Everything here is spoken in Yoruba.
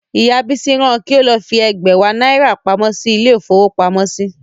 Ìyá Bísí ran an kí ó lọ fi ẹ̀gbẹ̀wá náírà pamọ́ sí ilé-ìfowópamọ́sí.